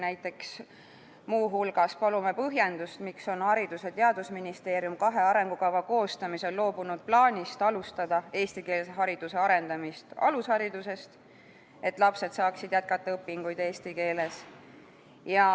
Näiteks muu hulgas palume põhjendust, miks on Haridus- ja Teadusministeerium kahe arengukava koostamisel loobunud plaanist alustada eestikeelse hariduse arendamist alusharidusest, et lapsed saaksid jätkata õpinguid eesti keeles.